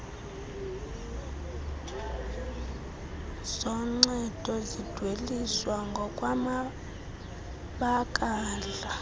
zoncedo zidweliswa ngokwamabakala